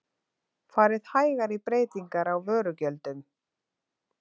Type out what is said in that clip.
Farið hægar í breytingar á vörugjöldum